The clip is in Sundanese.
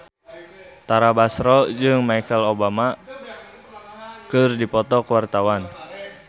Tara Basro jeung Michelle Obama keur dipoto ku wartawan